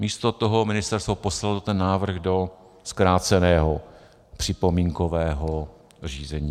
Místo toho ministerstvo poslalo ten návrh do zkráceného připomínkového řízení.